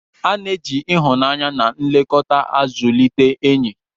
A na-eji ịhụnanya na nlekọta zụlite enyi.